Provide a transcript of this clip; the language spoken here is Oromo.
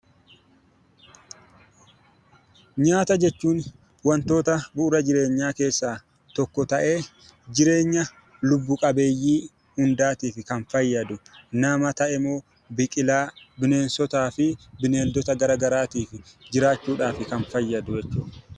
Nyaata jechuun wantoota bu'uura jireenyaa keessaa tokko ta'ee jireenya lubbu qabeeyyii hundaatiif kan fayyadu nama ta'ee, biqilaa , bineensotaa fi bineeldota garaagaraatiif jiraachuuf kan fayyadu jechuudha.